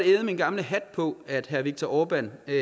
æde min gamle hat på at herre viktor orbán er